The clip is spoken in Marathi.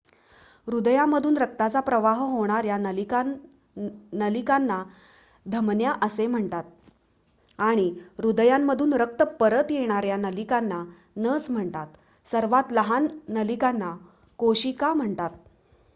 हृदयामधून रक्ताचा प्रवाह होणार्‍या नलिकांना धमन्या असे म्हणतात आणि हृदयामधून रक्त परत येणार्‍या नलिकेला नस म्हणतात सर्वात लहान नलिकांना केशिका म्हणतात